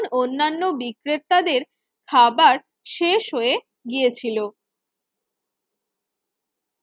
অন্যান্য বিক্রেতাদের খাবার শেষ হয়ে গিয়েছিল।